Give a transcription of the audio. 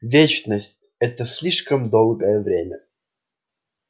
вечность это слишком долгое время